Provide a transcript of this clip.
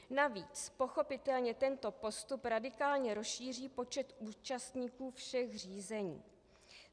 Navíc pochopitelně tento postup radikálně rozšíří počet účastníků všech řízení.